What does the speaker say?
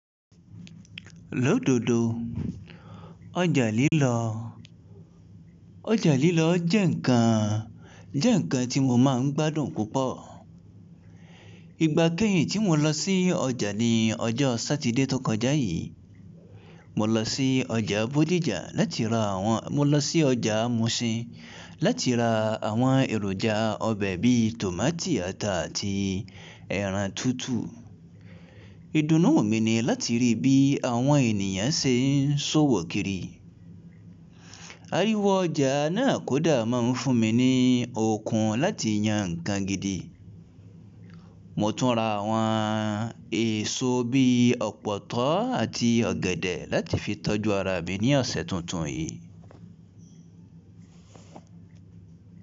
Lódodo. Ọjà lílọ, ọjà lílọ jẹ́ ǹkan, jẹ́ ǹkan tí mo máa ń gbádùn púpọ̀. Ìgbà kẹ́yìn tí mo lọ sí ọjà ni ọjọ́ Sátidé tó kọjá yìí. Mo lọ sí ọjà Bódìjà láti ra àwọn-- mo lọ sí ọjà Mushin láti ra àwọn èròjà ọbẹ̀ bí i tòmátì ata àti ẹran tútù. Ìdùnnú mi ni láti rí bí àwọn ènìyàn ṣe ń ṣòwò kiri. Ariwo ọjà náà kódà máa ń fún mi ní okun láti yan ǹkan gidi. Mo tún ra àwọn èso bí i ọ̀pọ̀tọ́ àti ọ̀gẹ̀dẹ̀ láti fi tọ́jú ara mi ní ọ̀sẹ̀ tuntun yìí.